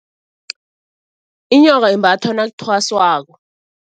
Inyoka imbathwa nakuthwaswako.